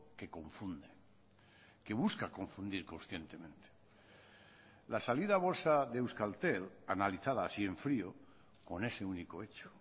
que confunde que busca confundir conscientemente la salida a bolsa de euskaltel analizada así en frío con ese único hecho